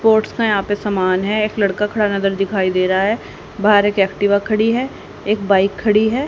Sports का यहां पे सामान है एक लड़का खड़ा नजर दिखाई दे रा है बाहर एक एक्टिवा खड़ी है एक बाइक खड़ी है।